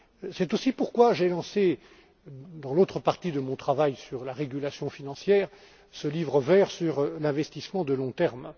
C'est aussi pourquoi j'ai lancé, dans l'autre partie de mon travail sur la régulation financière, ce livre vert sur l'investissement à long terme.